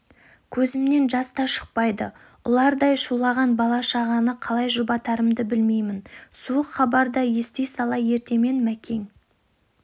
көзімнен жаста шықпайды ұлардай шулаған бала шағаны қалай жұбатарымды білмеймін суық хабарда ести сала ертемен мәкең